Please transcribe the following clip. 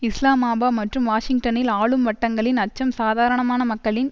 இஸ்லாமாபா மற்றும் வாஷிங்டனில் ஆளும் வட்டங்களின் அச்சம் சாதாரணமான மக்களின்